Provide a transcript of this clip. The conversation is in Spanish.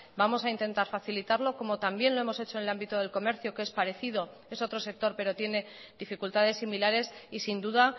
vamos a intentar facilitarlo como también lo hemos hecho en el ámbito del comercio que es parecido es otro sector pero tiene dificultades similares y sin duda